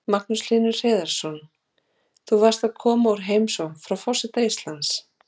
Magnús Hlynur Hreiðarsson: Þú varst að koma úr heimsókn frá forseta Íslands?